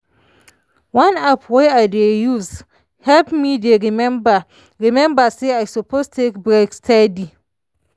one app wey i dey use help me dey remember remember say i suppose take break steady.